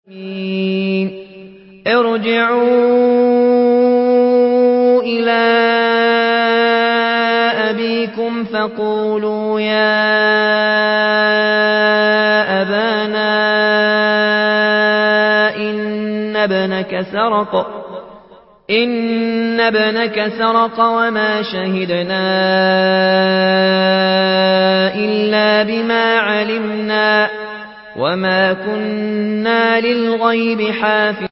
ارْجِعُوا إِلَىٰ أَبِيكُمْ فَقُولُوا يَا أَبَانَا إِنَّ ابْنَكَ سَرَقَ وَمَا شَهِدْنَا إِلَّا بِمَا عَلِمْنَا وَمَا كُنَّا لِلْغَيْبِ حَافِظِينَ